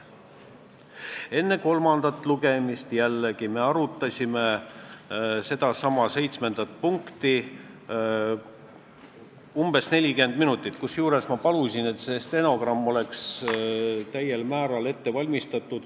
Enne kolmandat lugemist me jällegi arutasime sedasama 7. punkti umbes 40 minutit, kusjuures ma palusin, et tehtaks täielik stenogramm.